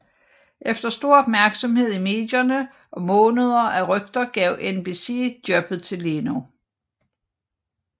Efter stor opmærksomhed i medierne og måneder af rygter gav NBC jobbet til Leno